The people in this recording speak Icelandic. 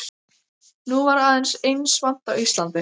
Nú var aðeins eins vant á Íslandi.